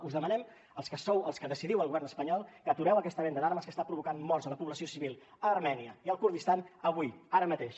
us demanem als que sou als que decidiu al govern espanyol que atureu aquesta venda d’armes que està provocant morts a la població civil a armènia i al kurdistan avui ara mateix